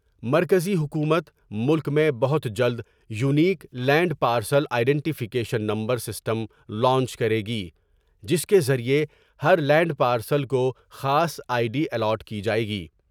مرکزی حکومت ، ملک میں بہت جلد unique land parcel identification number system launch کرے گی جس کے ذریعہ ہر لینڈ پارسل کو خاص آئی ڈی الاٹ کی جائے گی ۔